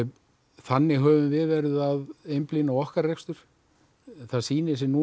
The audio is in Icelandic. þannig höfum við verið að einblína á okkar rekstur það sýnir sig núna